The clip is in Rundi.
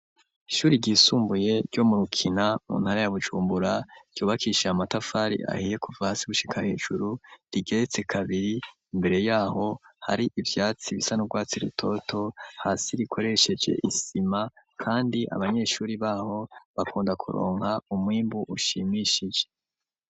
Ishuri ryisumbuye ryo mu rukina muntara ya bujumbura ryubakishije amatafari ahiye kuva hasi gushika hejuru rigeretse kabiri imbere yaho hari ivyatsi bisa n'ugwatsi rutoto hasi rikoresheje isima kandi abanyeshuri baho bakunda kuronka umwimbu ushimishije.